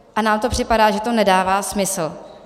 A nám to připadá, že to nedává smysl.